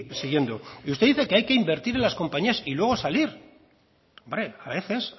siguiendo y usted dice que hay que invertir en las compañías y luego salir hombre a veces